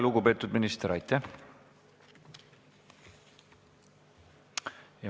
Lugupeetud minister, aitäh!